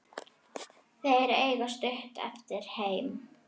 Þeir eiga stutt eftir heim.